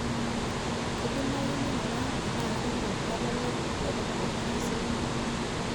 kidimayu ninguraa enaa katipika otwala lai letadekenya taisere